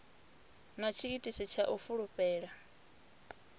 na tshiitisi tsha u fulufhela